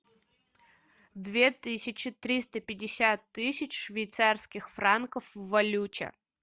две тысячи триста пятьдесят тысяч швейцарских франков в валюте